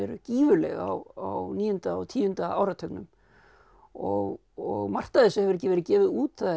gífurleg á níunda og tíunda áratugnum og og margt af þessu hefur ekki verið gefið út það er